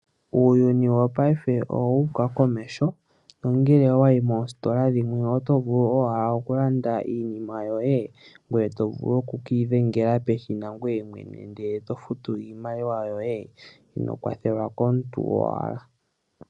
Uuyuni wopaife owuuka komeho nongele owayi moositola dhimwe oto vulu owala oku landa iinima yoye, ngweye to vulu okukiidhengela peshina ngoye mwene, eto futu iimaliwa yoye inoo kwathelwa komuntu owala.